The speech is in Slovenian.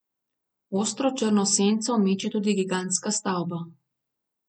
Ostro črno senco meče tudi gigantska stavba.